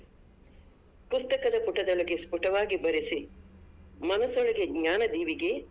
ಪುಸ್ತಕದ ಪುಟದೊಳಗೆ ಸ್ಪುಟವಾಗಿ ಬರೆಸಿ ಮನಸೊಳಗೆ ಜ್ಞಾನ ದೀವಿಗೆ.